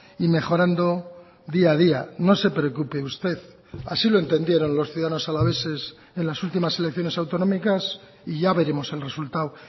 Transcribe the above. y mejorando día a día no se preocupe usted así lo entendieron los ciudadanos alaveses en las últimas elecciones autonómicas y ya veremos el resultado